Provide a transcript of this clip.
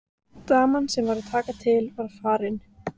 Daman sem var að taka til var farin.